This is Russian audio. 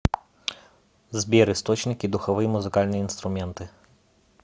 сбер источники духовые музыкальные инструменты